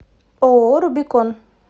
ооо рубикон